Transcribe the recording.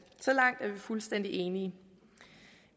så langt er vi fuldstændig enige